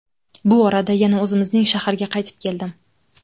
Bu orada yana o‘zimizning shaharga qaytib keldim.